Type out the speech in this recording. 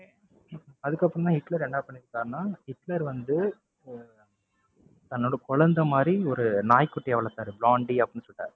அதுக்கப்பறமா ஹிட்லர் என்ன பண்ணிருக்காருன்னா, ஹிட்லர் வந்து அஹ் தன்னோட குழந்தை மாதிரி ஒரு நாய்க்குட்டிய வளர்த்தாரு ப்ளாண்டி அப்படின்னு சொல்லிட்டு